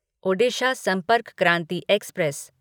Odisha Sampark Kranti express